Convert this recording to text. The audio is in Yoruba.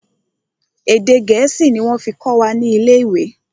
Èdè gẹ̀ẹ́sì ni wọ́n fí kọ́ wa ni ilé ìwé.